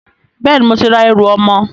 Bẹ́ẹ̀ni, mo ti ra ẹrù ọmọ